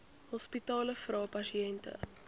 hospitale vra pasiënte